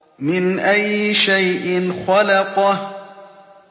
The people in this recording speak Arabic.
مِنْ أَيِّ شَيْءٍ خَلَقَهُ